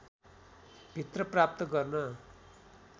भित्र प्राप्त गर्न